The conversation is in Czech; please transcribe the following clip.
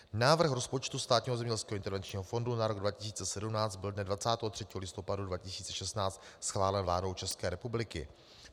Návrh rozpočtu Státního zemědělského intervenčního fondu na rok 2017 byl dne 23. listopadu 2016 schválen vládou České republiky.